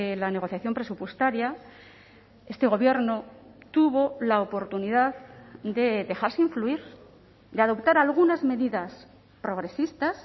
la negociación presupuestaria este gobierno tuvo la oportunidad de dejarse influir de adoptar algunas medidas progresistas